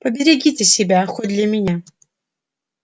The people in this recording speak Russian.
поберегите себя хоть для меня